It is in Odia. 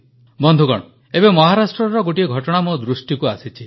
ବନ୍ଧୁଗଣ ଏବେ ମହାରାଷ୍ଟ୍ରର ଗୋଟିଏ ଘଟଣା ମୋ ଦୃଷ୍ଟିକୁ ଆସିଛି